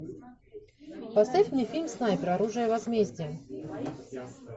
поставь мне фильм снайпер оружие возмездия